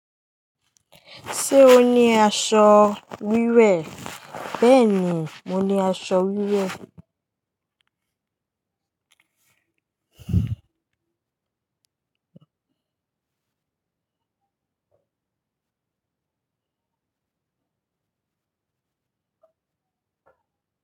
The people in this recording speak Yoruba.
Ṣé o ní aṣọ wíwẹ̀? Beeni mo ni aso wiwe.